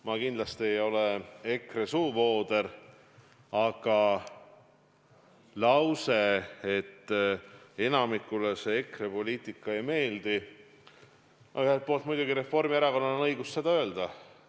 Ma kindlasti ei ole EKRE suuvooder, aga mis puutub lausesse, et enamikule EKRE poliitika ei meeldi, siis ühelt poolt muidugi on Reformierakonnal õigus seda öelda.